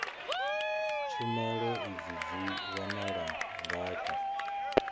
tshumelo idzi dzi wanala ngafhi